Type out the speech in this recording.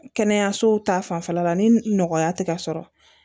Kɛnɛyaso ta fanfɛla la ni nɔgɔya tɛ ka sɔrɔ